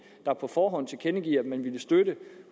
der på forhånd tilkendegav at man ville støtte